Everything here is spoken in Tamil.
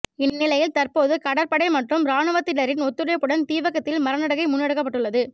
இந்நிலையில் தற்போது கடற்படை மற்றும் இராணுவத்தினரின் ஒத்துழைப்புடன் தீவகத்தில் மரநடுகை முன்னெடுக்கப்பட்டுள்ளது